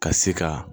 Ka se ka